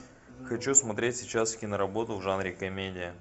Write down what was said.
хочу смотреть сейчас киноработу в жанре комедия